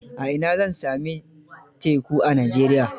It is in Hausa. A ina zan sami teku a Najeriya?